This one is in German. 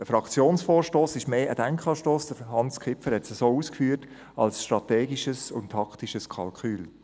Ein Fraktionsvorstoss ist eher ein Denkanstoss, wie Hans Kipfer ausgeführt hat, denn strategisches und taktisches Kalkül.